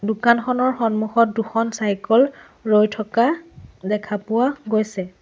দোকানখনৰ সন্মুখত দুখন চাইকল ৰৈ থকা দেখা পোৱা গৈছে।